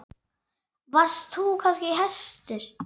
Varst þú kannski hæstur?